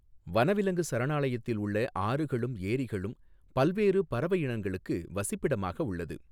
வனவிலங்கு சரணாலயத்தில் உள்ள ஆறுகளும் ஏரிகளும் பல்வேறு பறவை இனங்களுக்கு வசிப்பிடமாக உள்ளது.